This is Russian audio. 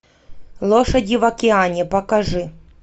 лошади в океане покажи